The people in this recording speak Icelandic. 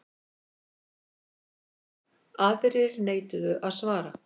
Aðrir neituðu að svara.